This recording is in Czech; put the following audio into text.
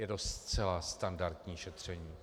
Je to zcela standardní šetření.